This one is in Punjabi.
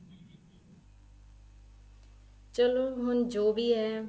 ਚਲੋਂ ਹੁਣ ਜੋ ਵੀ ਹੈ